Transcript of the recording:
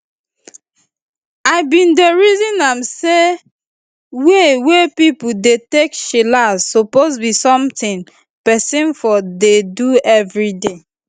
i bin dey reason am say way wey pipo dey take chillax suppose be something peson for dey do everyday